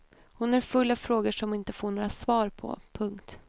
Hon är full av frågor som hon inte får några svar på. punkt